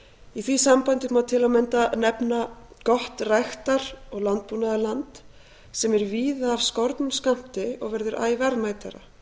í því sambandi má til að mynda nefna að gott ræktar og landbúnaðarland sem er víða orðið af skornum skammti og verður æ verðmætara